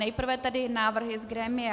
Nejprve tedy návrhy z grémia.